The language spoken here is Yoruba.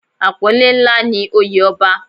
Apọnle ńlá ni oye ọba.